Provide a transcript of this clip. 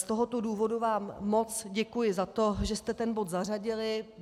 Z tohoto důvodu vám moc děkuji za to, že jste ten bod zařadili.